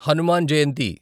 Hanuman Jayanti